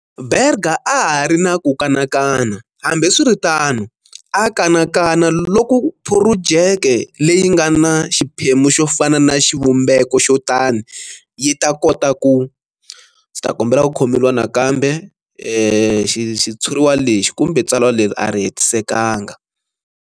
Berger a ha ri na ku kanakana, hambiswiritano, a kanakana loko phurojeke leyi nga na xiphemu xo fana na xivumbeko xo tano yi ta kota ku ndzi ta kombela ku khomeriwa nakambe xitshuriwa lexi kumbe tsalwa leri a ri hetisekanga.